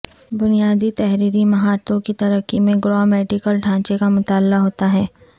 بنیادی تحریری مہارتوں کی ترقی میں گرامیٹیکل ڈھانچے کا مطالعہ ہوتا ہے